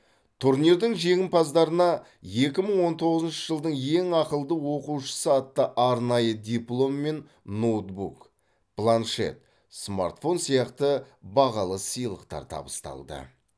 турнирдің жеңімпаздарына екі мың он тоғызыншы жылдың ең ақылды оқушысы атты арнайы диплом мен ноутбук планшет смартфон сияқты бағалы сыйлықтар табысталды